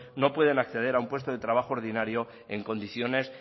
no pueden acceder a un puesto de trabajo ordinario en condiciones